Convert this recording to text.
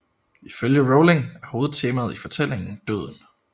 Ifølge Rowling er hovedtemaet i fortælling døden